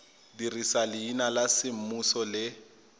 dirisa leina la semmuso le